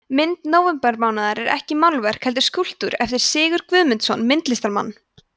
mynd nóvembermánaðar er ekki málverk heldur skúlptúr eftir sigurð guðmundsson myndlistarmann